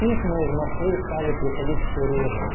письма из москвы стали приходить все реже